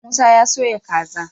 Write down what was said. Musa ya soya kaza